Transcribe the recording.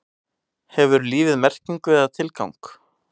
Hefur lífið merkingu eða tilgang?